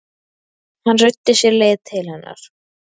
Hann ruddi sér leið til hennar.